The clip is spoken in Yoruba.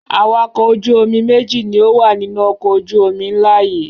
Awakọ̀ ojú-omi méjì ni ó wà nínú ọkọ̀ ojú-omi ńlá yìí.